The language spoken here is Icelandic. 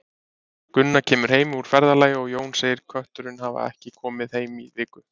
Gunna kemur heim úr ferðalagi og Jón segir Kötturinn hefur ekki komið heim í viku.